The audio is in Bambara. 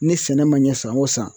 Ni sɛnɛ ma ɲɛ san wo san